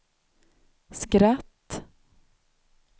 skratt